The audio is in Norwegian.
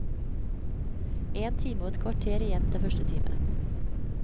En time og et kvarter igjen til første time.